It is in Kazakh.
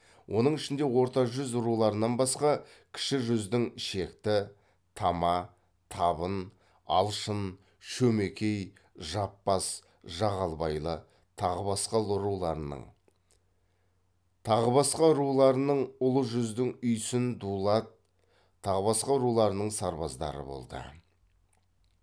оның ішінде орта жүз руларынан басқа кіші жүздің шекті тама табын алшын шөмекей жаппас жағалбайлы тағы басқа руларының ұлы жүздің үйсін дулат тағы басқа руларының сарбаздары болды